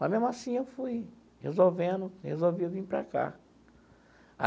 Mas, mesmo assim, eu fui resolvendo e resolvi vir para cá.